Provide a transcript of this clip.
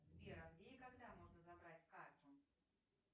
сбер а где и когда можно забрать карту